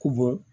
Ko bɔ